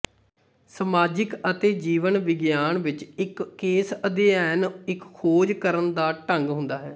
ਸਮਾਜਿਕ ਅਤੇ ਜੀਵਨ ਵਿਗਿਆਨ ਵਿਚ ਇੱਕ ਕੇਸ ਅਧਿਐਨ ਇੱਕ ਖੋਜ ਕਰਨ ਦਾ ਢੰਗ ਹੁੰਦਾ ਹੈ